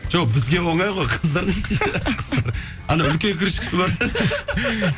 жоқ бізге оңай ғой қыздар не істейді қыздар ана үлкен крышкасы бар